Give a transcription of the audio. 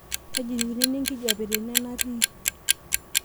kaji eikununo enkijiape tene natii